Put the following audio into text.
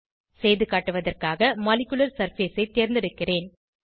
செய்துகாட்டுவதற்காக molecular surface ஐ தேர்ந்தெடுக்கிறேன்